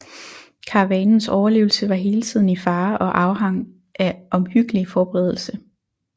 Karavanens overlevelse var hele tiden i fare og afhang af omhyggelig forberedelse